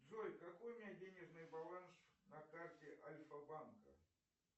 джой какой у меня денежный баланс на карте альфа банка